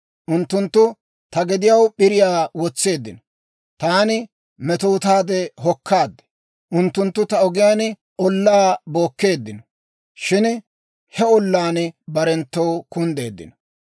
Unttunttu ta gediyaw p'iriyaa wotseeddino; taani metootaade hokkaad. Unttunttu ta ogiyaan ollaa bookkeeddino; shin he ollaan barenttoo kunddeeddino.